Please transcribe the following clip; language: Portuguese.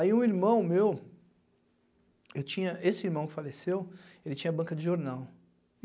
Aí um irmão meu, eu tinha esse irmão que faleceu, ele tinha banca de jornal.